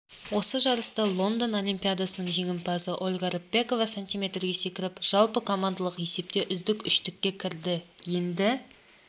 осы жарыста лондон олимпиадасының жеңімпазы ольга рыпакова см-ге секіріп жалпыкомандалық есепте үздік үштікке кірді енді